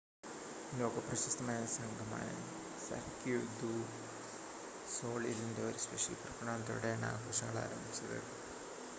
ലോക പ്രശസ്തമായ സംഘമായ സർക്യൂ ദു സൊളീലിൻ്റെ ഒരു സ്പെഷ്യൽ പ്രകടനത്തോടെയാണ് ആഘോഷങ്ങൾ ആരംഭിച്ചത്